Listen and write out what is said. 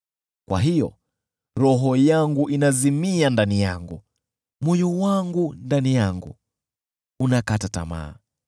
Kwa hiyo roho yangu inazimia ndani yangu, moyo wangu ndani yangu unakata tamaa.